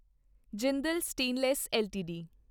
Jindal stainless LTD